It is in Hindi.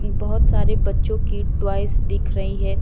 बहोत सारे बच्चों की टॉयज दिख रही है।